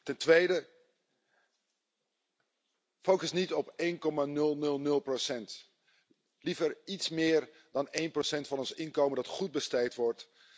Ten tweede focus niet op één komma nul, nul, nul procent. Liever iets meer dan 1 van ons inkomen dat goed besteed wordt.